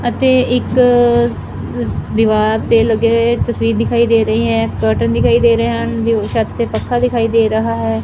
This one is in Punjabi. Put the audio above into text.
ਅਤੇ ਇੱਕ ਦੀਵਾਰ ਤੇ ਲੱਗੇ ਹੋਏ ਤਸਵੀਰ ਦਿਖਾਈ ਦੇ ਰਹੀ ਹੈਂ ਕਰਟਨ ਦਿਖਾਈ ਦੇ ਰਹੇ ਹਨ ਛੱਤ ਤੇ ਪੱਖਾ ਦਿਖਾਈ ਦੇ ਰਹਾ ਹੈ।